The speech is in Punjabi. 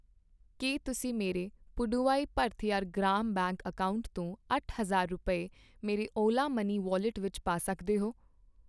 ਕੀ ਤੁਸੀਂ ਮੇਰੇ ਪੁਡੁਵਾਈ ਭਰਥਿਅਰ ਗ੍ਰਾਮ ਬੈਂਕ ਅਕਾਊਂਟ ਤੋਂ ਅੱਠ ਹਜ਼ਾਰ ਰੁਪਏ, ਮੇਰੇ ਓਲਾ ਮਨੀ ਵੌਲਿਟ ਵਿੱਚ ਪਾ ਸਕਦੇ ਹੋ ?